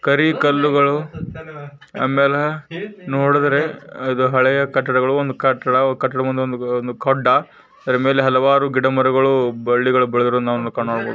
ಕರಿ ಕಲ್ಲುಗಳು ಆಮೇಲೆ ನೋಡಿದ್ರೆ ಅದು ಹಳೆಯ ಕಟ್ಟಡ ಅದರ ಮೇಲೆ ಒಂದು ಗುಡ್ಡ ಅಲ್ಲಿ ಹಲವಾರು ಗಿಡ ಮರಗಳು ಬಳ್ಳಿಗಳು ಬೆಳೆದಿರುವುದನ್ನ ನಾವು ಕಾಣಬಹುದು.